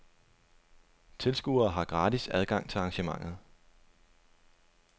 Tilskuere har gratis adgang til arrangementet.